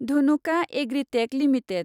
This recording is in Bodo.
Dhanuka Agritech limited